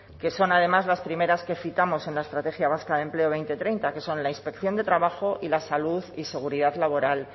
que son además las primeras que citamos en la estrategia vasca de empleo dos mil treinta que son la inspección de trabajo y la salud y seguridad laboral